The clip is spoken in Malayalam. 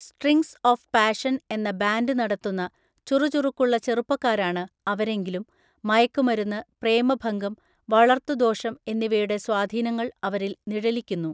സ്ട്രിംഗ്സ് ഓഫ് പാഷൻ എന്ന ബാൻഡ് നടത്തുന്ന ചുറുചുറുക്കുള്ള ചെറുപ്പക്കാരാണ് അവരെങ്കിലും മയക്കുമരുന്ന്, പ്രേമഭംഗം, വളര്‍ത്തുദോഷം എന്നിവയുടെ സ്വാധീനങ്ങൾ അവരിൽ നിഴലിക്കുന്നു.